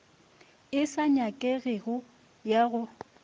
e sa nyakegego ya go